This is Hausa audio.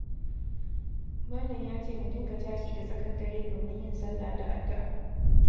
Malam ya ce mu dinga tashi da tsakar dare domin yin salla da addu'a,